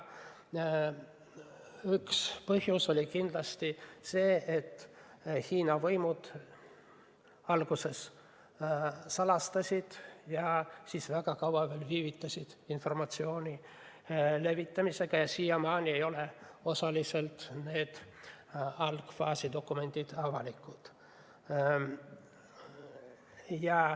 Üks põhjus oli kindlasti see, et Hiina võimud alguses salatsesid ja seejärel väga kaua viivitasid informatsiooni levitamisega, siiamaani ei ole need algfaasi dokumendid osaliselt avalikud.